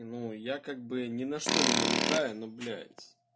я как бы ни на что не намекаю но блять